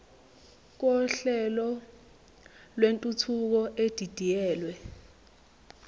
kohlelo lwentuthuko edidiyelwe